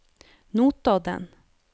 Notodden